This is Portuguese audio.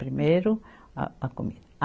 Primeiro a a comida.